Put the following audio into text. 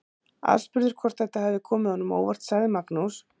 Aðspurður hvort þetta hafi komið honum á óvart sagði Magnús.